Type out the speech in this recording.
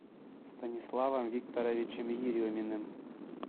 станиславом викторовичем ереминым